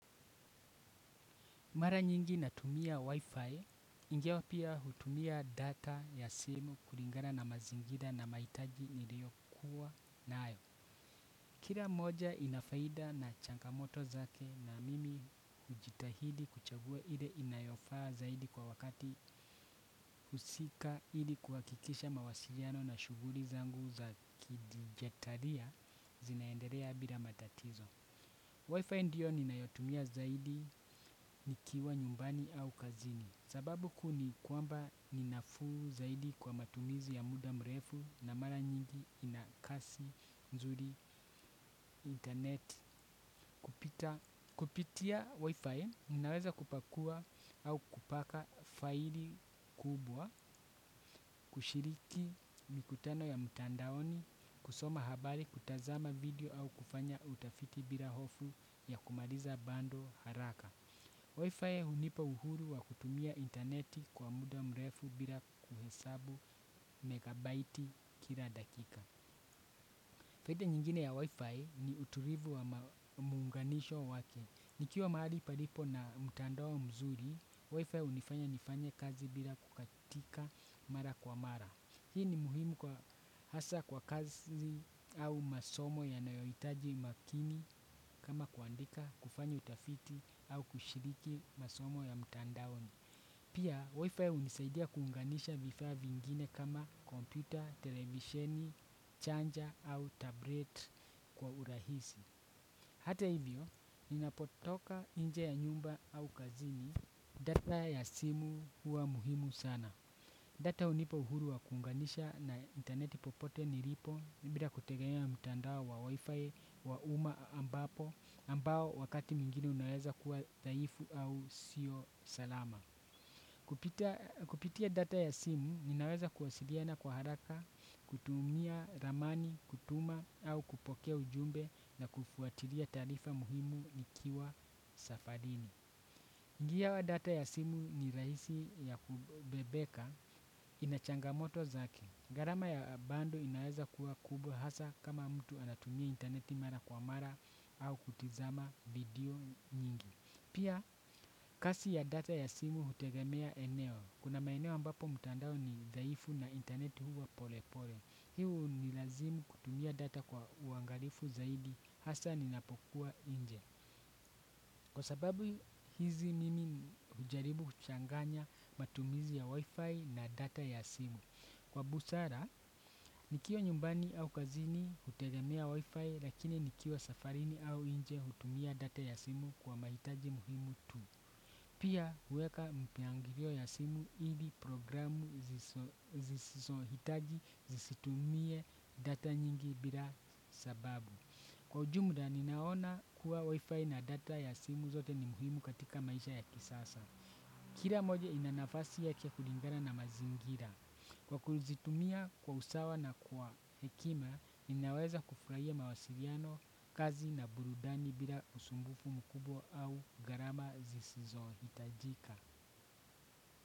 Mara nyingi natumia wifi, ingawa pia hutumia data ya simu kulingana na mazingira na mahitaji niliyokuwa nayo. Kila moja ina faida na changamoto zake na mimi hujitahidi kuchagua ile inayofaa zaidi kwa wakati husika ili kuhakikisha mawasiliano na shughuli zangu za kidigitalia inaendelea bila matatizo. Wi-Fi ndio ninayotumia zaidi nikiwa nyumbani au kazini. Sababu kuu ni kwamba ni nafuu zaidi kwa matumizi ya muda mrefu na mara nyingi ina kasi nzuri internet kupita kupitia Wi-Fi, ninaweza kupakua au kupaka faili kubwa kushiriki mikutano ya mtandaoni, kusoma habari, kutazama video au kufanya utafiti bila hofu ya kumaliza bando haraka. Wi-Fi hunipa uhuru wa kutumia interneti kwa muda mrefu bila kuhesabu megabaiti kila dakika. Faida nyingine ya wi-Fi ni utulivu wa muunganisho wake. Nikiwa mahali palipo na mtandao mzuri, Wi-Fi hunifanya nifanye kazi bila kukatika mara kwa mara. Hii ni muhimu kwa hasa kwa kazi au masomo yanayohitaji makini kama kuandika kufanya utafiti au kushiriki masomo ya mtandaoni. Pia, wifi hunisaidia kuunganisha vifaa vingine kama kompyuta, televisheni, chanja au tablet kwa urahisi. Hata hivyo, ninapotoka nje ya nyumba au kazini data ya simu huwa muhimu sana. Data hunipa uhuru wa kuunganisha na interneti popote nilipo bila kutegemea mtandao wa wifi wa umma ambapo ambao wakati mwigine unaweza kuwa dhaifu au sio salama. Kupitia data ya simu ninaweza kuwasiliana kwa haraka, kutumia ramani, kutuma au kupokea ujumbe na kufuatilia taarifa muhimu nikiwa safarini. Ngi ya data ya simu ni rahisi ya kubebeka inachangamoto zake. Gharama ya bando inaweza kuwa kubwa hasa kama mtu anatumia interneti mara kwa mara au kutizama video nyingi. Pia kasi ya data ya simu hutegemea eneo. Kuna maeneo ambapo mtandao ni dhaifu na intaneti huwa pole pole. Hii unilazimu kutumia data kwa uangalifu zaidi hasa ninapokuwa nje. Kwa sababu hizi mimi hujaribu kuchanganya matumizi ya wifi na data ya simu kwa busara, nikiwa nyumbani au kazini hutegemea wifi lakini nikiwa safarini au nje hutumia data ya simu kwa mahitaji muhimu tu. Pia huweka mipangilio ya simu ili programu nisizohitaji zisitumie data nyingi bila sababu kwa ujumla ninaona kuwa wifi na data ya simu zote ni muhimu katika maisha ya kisasa. Kila moja ina nafasi yake kulingana na mazingira. Kwa kuzitumia kwa usawa na kwa hekima, ninaweza kufurahia mawasiliano kazi na burudani bila usumbufu mkubwa au gharama zisizohitajika.